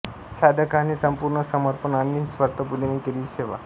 साधकाने संपूर्ण समर्पण आणि निस्वार्थी बुद्धीने केलेली सेवा